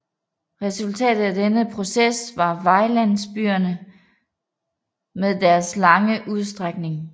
Resultatet af denne proces var vejlandsbyerne med deres lange udstrækning